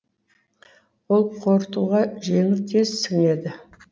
ол қорытуға жеңіл тез сіңеді